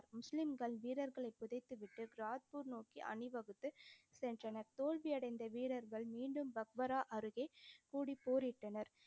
முஸ்லிம்கள் வீரர்களைப் புதைத்துவிட்டு கிராத்பூர் நோக்கி அணிவகுத்து சென்றனர். தோல்வி அடைந்த வீரர்கள் மீண்டும் பத்வரா அருகே கூடி போரிட்டனர்.